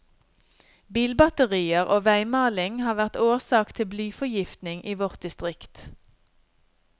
Bilbatterier og veimaling har vært årsak til blyforgiftning i vårt distrikt.